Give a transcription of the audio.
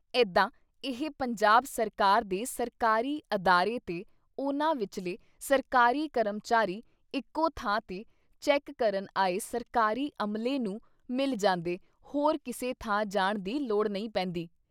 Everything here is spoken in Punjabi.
ਏਦਾਂ ਇਹ ਪੰਜਾਬ ਸਰਕਾਰ ਦੇ ਸਰਕਾਰੀ ਅਦਾਰੇ ਤੇ ਉਨ੍ਹਾਂ ਵਿਚਲੇ ਸਰਕਾਰੀ ਕਰਮਚਾਰੀ ਇਕੋ ਥਾਂ 'ਤੇ ਚੈੱਕ ਕਰਨ ਆਏ ਸਰਕਾਰੀ ਅਮਲੇ ਨੂੰ ਮਿਲ ਜਾਂਦੇ ਹੋਰ ਕਿਸੇ ਥਾਂ ਜਾਣ ਦੀ ਲੋੜ ਨਹੀਂ ਪੈਂਦੀ।